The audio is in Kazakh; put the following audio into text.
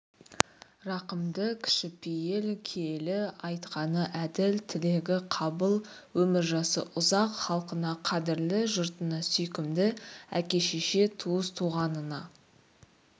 рақымды кішіпейіл киелі айтқаны әділ тілегі қабыл өмір-жасы ұзақ халқына қадірлі жұртына сүйкімді әке-шеше туыс-туғанына